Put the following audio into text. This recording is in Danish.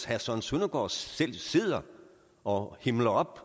herre søren søndergaard selv sidder og himler op